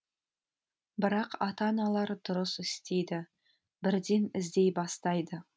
бірақ ата аналар дұрыс істейді бірден іздей бастайды